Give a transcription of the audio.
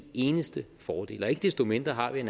eneste fordel ikke desto mindre har vi